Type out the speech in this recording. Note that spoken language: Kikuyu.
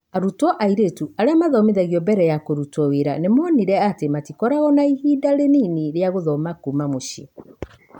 Arutwo airĩtu arĩa mathomithagio mbere ya kũrutwo wĩra nĩ monire atĩ matikoragwo na ihinda rĩnini rĩa gũthoma kuuma mũcĩĩ.